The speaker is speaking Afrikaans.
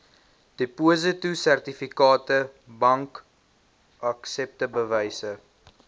depositosertifikate bankaksepte bewyse